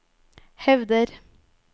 hevder